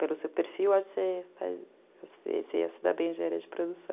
Pelo seu perfil, acho que você ia se dar bem em engenharia de produção.